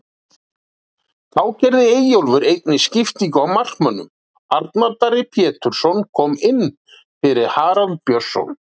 Þá gerði Eyjólfur einnig skiptingu á markmönnum, Arnar Darri Pétursson kom inn fyrir Harald Björnsson.